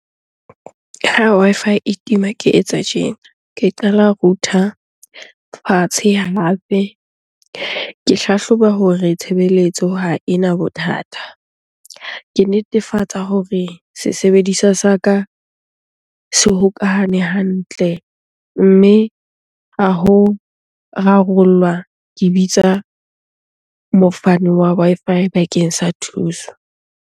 Ha Wi-Fi e tima, ke etsa tjena ke qala. Router fatshe hape, ke hlahloba hore tshebeletso ha ena bothata. Ke netefatsa hore e se sebediswa sa ka se hokahane hantle. Mme ha ho rarollwa ke bitsa mofani wa Wi-Fi bakeng sa thuso.